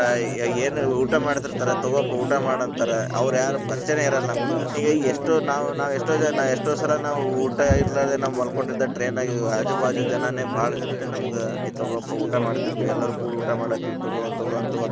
ಏನಾರ ಊಟಾ ಮಾಡ್ತಿರ್ತಾರಾ ತಗೋಪಾ ಊಟಾ ಮಾಡ ಅಂತಾರ, ಅವ್ರ ಯಾರು ಪರಿಚಯನ ಇರಲ್ಲ ನಮಗ, ಹಿಂಗಾಗಿ ಎಷ್ಟೋ ನಾವ್ ನಾವ್ ನಾವು ಎಷ್ಟೋ ನಾವು ಎಷ್ಟೋ ಸಲಾ ನಾವು ಊಟಾ ಇರಲಾರದೆ ನಾವ ಮಲ್ಕೊಂಡಿದ್ದಾಗ train ಗ ಆಜು ಬಾಜು ಜನಾನೇ ಬಾಳ ಜನಾನೇ ನಮಗ ಏ ತಗೋಪಾ ಊಟಾ ಮಾಡತೀರ್ತೀವಿ ಎಲ್ಲಾರು ಕೂಡ್ ಊಟಾ ಮಾಡತೀವಿ ತಗೋ ತಗೋ .